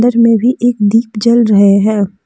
अंदर में भी एक दीप जल रहे हैं।